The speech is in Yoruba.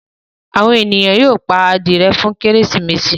àwọn ènìyàn yóó pá adìye fún Kérésìmesì.